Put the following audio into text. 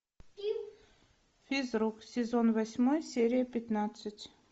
физрук сезон восьмой серия пятнадцать